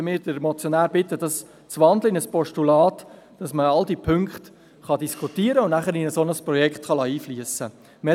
Deshalb möchten wir den Motionär bitten, diese in ein Postulat zu wandeln, damit alle Punkte diskutiert und in ein Projekt einfliessen können.